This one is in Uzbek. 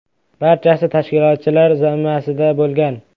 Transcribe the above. Barchasi tashkilotchilar zimmasida bo‘lgan.